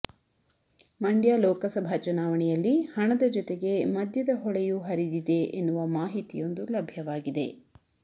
ಮಂಡ್ಯ ಲೋಕಸಭಾ ಚುನಾವಣೆಯಲ್ಲಿ ಹಣದ ಜೊತೆಗೆ ಮದ್ಯದ ಹೊಳೆಯೂ ಹರಿದಿದೆ ಎನ್ನುವ ಮಾಹಿತಿಯೊಂದು ಲಭ್ಯವಾಗಿದೆ